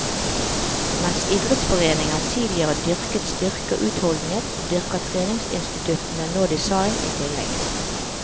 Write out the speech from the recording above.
Mens idrettsforeninger tidligere dyrket styrke og utholdenhet, dyrker treningsinstituttene nå design i tillegg.